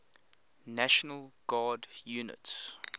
national guard units